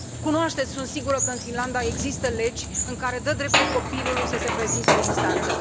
Cunoașteți, sunt sigură, că în Finlanda există legi în care se dă dreptul copilului să se prezinte în instanță.